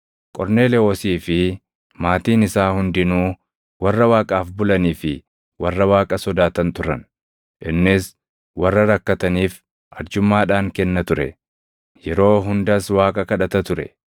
Qorneelewoosii fi maatiin isaa hundinuu warra Waaqaaf bulanii fi warra Waaqa sodaatan turan; innis warra rakkataniif arjummaadhaan kenna ture; yeroo hundas Waaqa kadhata ture.